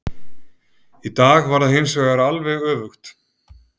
Í dag var það hinsvegar alveg öfugt.